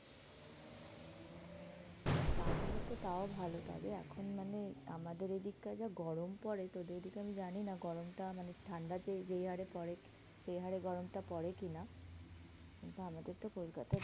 তাহলে তো তাও ভালো। তবে এখন মানে আমাদের এদিককার যা গরম পরে, তোদের ওদিকে আমি জানি না গরমটা মানে ঠান্ডাতে যেই হারে পরে, সেই হারে গরমটা পরে কি না? কিন্তু আমাদের তো কোলকাতার